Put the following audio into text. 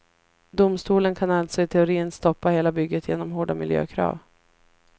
Domstolen kan alltså i teorin stoppa hela bygget genom hårda miljökrav.